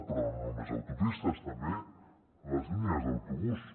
però no només a autopistes també a les línies d’autobús